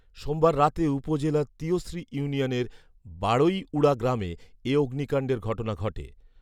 সোমবার রাতে উপজেলার তিয়শ্রী ইউনিয়নের বাড়ৈউড়া গ্রামে এ অগ্নিকান্ডের ঘটনা ঘটে